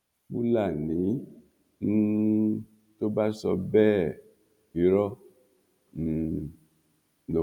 fúlàní um tó bá sọ bẹ́ẹ̀ irọ́ um ló ń